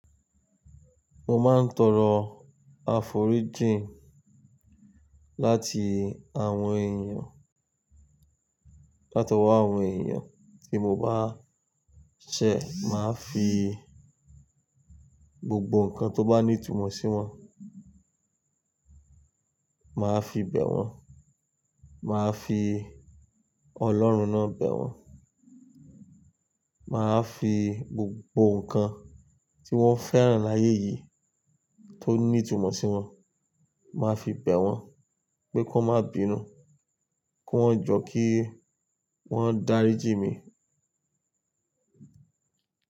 Mo máa ń tọrọ àforíjì láti àwọn èèyàn, látọwọ́ àwọn èèyàn tí mo bá ṣẹ̀, màá fi gbogbo nǹkan tó bá ní ìtumọ̀ sí wọn, màá fi bẹ̀ wọ́n, màá fi ọlọ́run ná bẹ̀ wọ́n, màá fi gbogbo nǹkan tí wọ́n fẹ́ràn láyé yìí tó ní ìtumọ̀ sí wọn, màá fi bẹ̀ wọ́n pé kọ́ má bínú, kówon jọ̀ kí wọ́n dárí jí mi.